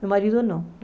Meu marido não.